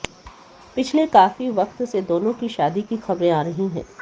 पिछले काफी वक्त से दोनों की शादी की खबरे आ रही हैं